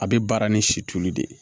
A bɛ baara ni situlu de ye